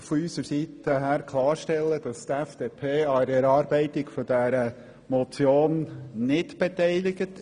Die FDP war an der Erarbeitung dieser Motion nicht beteiligt.